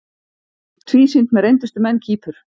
Tvísýnt með reyndustu menn Kýpur